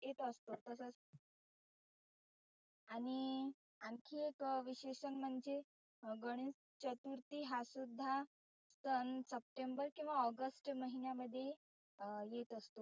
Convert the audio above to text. येत असतो तसच. आणि आनखी एक विशेष म्हणजे गणेश चतुर्थी हा सुद्धा सन सप्टेंबर किंवा ऑगस्ट महिण्यामध्ये अं येत असतो.